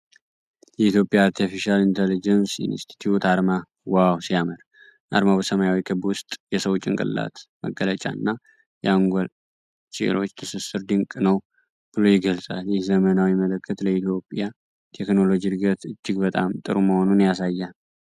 የኢትዮጵያ አርቲፊሻል ኢንተለጀንስ ኢንስቲትዩት አርማ ዋው ሲያምር! አርማው በሰማያዊ ክብ ውስጥ የሰው ጭንቅላት መገለጫ እና የአንጎል ሴሎች ትስስር ድንቅ ነው ብሎ ይገልጻል። ይህ ዘመናዊ ምልክት ለኢትዮጵያ ቴክኖሎጂ እድገት እጅግ በጣም ጥሩ መሆኑን ያሳያል።